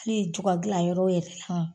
kli jugadila yɔrɔ yɛrɛ